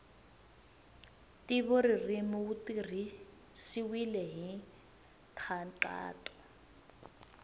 ntivoririmi wu tirhisiwile hi nkhaqato